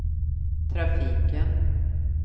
trafiken